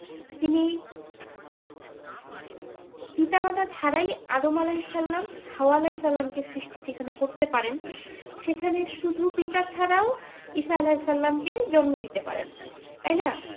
তিনি পিতা মাতা ছাড়াই আদম আলাইসাল্লাম হাওয়া আলাইসাল্লাম কে সৃষ্টি যেখানে করতে পারেন সেখানে শুধু পিতা ছাড়াও ঈসা আলাইসাল্লাম কে জন্ম দিতে পারেন তাই না